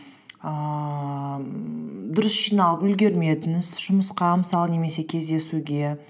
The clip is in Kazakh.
ііі дұрыс жиналып үлгермедіңіз жұмысқа мысалы немесе кездесуге